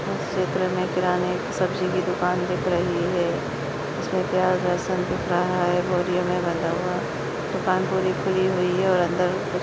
इस चित्र में किराने और सब्जी की दुकान दिख रही है इसमें प्याज लहसुन दिख रहा है बोरियों में बना हुआ दुकान पूरी खुली हुई है और अंदर --